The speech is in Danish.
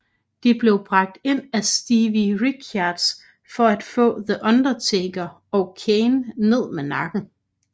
De blev bragt ind af Stevie Richards for at få The Undertaker og Kane ned med nakken